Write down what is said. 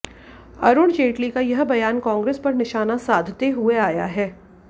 अरुण जेटली का यह बयान कांग्रेस पर निशाना साधते हुए आया है